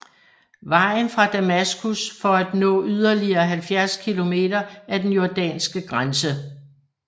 Vejen fra Damaskus for at nå yderligere 70 kilometer af den jordanske grænse